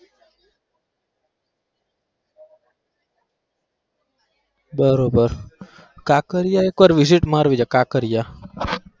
બરોબર કાંકરિયા એક વાર visit મારવી છે કાંકરિયા.